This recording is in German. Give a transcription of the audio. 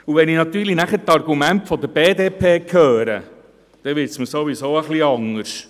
Wenn ich dann die Argumente der BDP höre, wird es mir sowieso ein wenig anders.